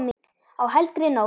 Á helgri nótt.